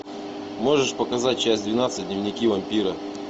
можешь показать часть двенадцать дневники вампира